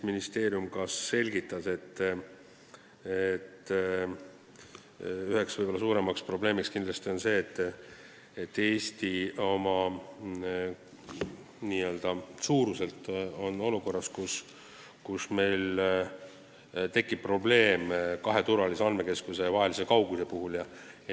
Ministeerium selgitas, et üheks suuremaks probleemiks on see, et Eesti on oma väiksuse tõttu olukorras, kus meil tekib probleem kahe turvalise andmekeskuse vahelise kaugusega.